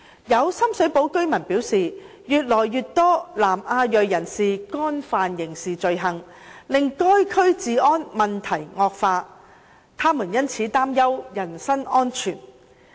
有深水埗居民表示，越來越多由南亞裔人士干犯的刑事罪行，令該區治安問題惡化，他們因此擔憂人身安全。